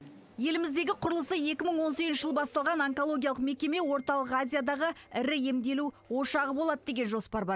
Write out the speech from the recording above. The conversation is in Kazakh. еліміздегі құрылысы екі мың он сегізінші жылы басталған онкологиялық мекеме орталық азиядағы ірі емделу ошағы болады деген жоспар бар